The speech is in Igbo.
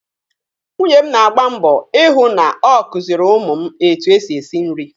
Nwunye m na-agba mbọ I hụ na ọ kuziiri ụmụ m etu e si esi nri.